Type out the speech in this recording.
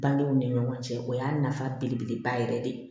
Bangew ni ɲɔgɔn cɛ o y'a nafa belebeleba yɛrɛ de ye